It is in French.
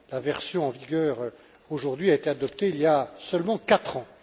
La version en vigueur aujourd'hui a été adoptée il y a seulement quatre ans.